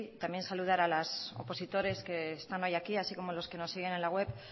también saludar a las opositores que están hoy aquí así como los que nos siguen en la web